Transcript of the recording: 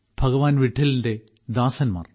ഭഗവാൻ വിട്ടലിന്റെ ദാസന്മാർ